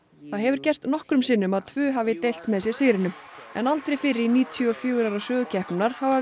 það hefur gerst nokkrum sinnum að tvö hafa deilt með sér sigrinum en aldrei fyrr í níutíu og fjögur ára sögu keppninnar hafa